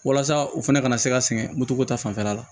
Walasa u fana ka na se ka sɛgɛn moto ta fanfɛla la